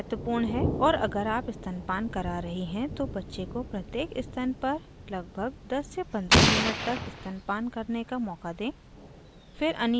और अगर आप स्तनपान करा रही हैं तो बच्चे को प्रत्येक स्तन पर 1015 minutes तक स्तनपान करने का मौका दें